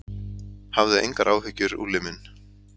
Hafðu engar áhyggjur, Úlli minn.